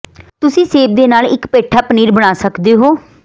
ਤੁਸੀਂ ਸੇਬ ਦੇ ਨਾਲ ਇੱਕ ਪੇਠਾ ਪਨੀਰ ਬਣਾ ਸਕਦੇ ਹੋ